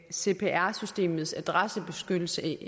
cpr systemets adressebeskyttelse